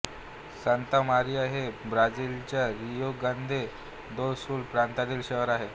Santa Maria हे ब्राझिलच्या Rio Grande do Sul प्रांतातील शहर आहे